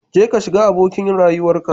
Jeka shiga abokin rayuwarka